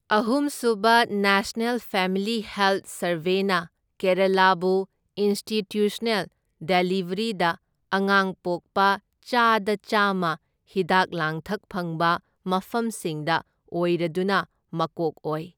ꯑꯍꯨꯝ ꯁꯨꯕ national family health ꯁꯔꯚꯦꯅ ꯀꯦꯔꯥꯂꯥꯕꯨ ꯏꯟꯁꯇꯤꯇ꯭ꯌꯨꯁꯅꯦꯜ ꯗꯦꯂꯤꯕ꯭ꯔꯤꯗ ꯑꯉꯥꯡ ꯄꯣꯛꯄ ꯆꯥꯗ ꯆꯥꯝꯃ ꯍꯤꯗꯥꯛ ꯂꯥꯡꯊꯛ ꯐꯪꯕ ꯃꯐꯝꯁꯤꯡꯗ ꯑꯣꯏꯔꯗꯨꯅ ꯃꯀꯣꯛ ꯑꯣꯏ꯫